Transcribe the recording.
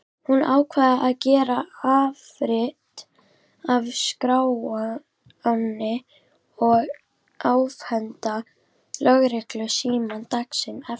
Hún ákvað að gera afrit af skránni og afhenda lögreglunni símann daginn eftir.